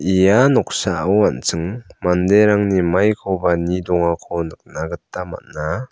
ia noksao an·ching manderangni maikoba nie dongako nikna gita man·a.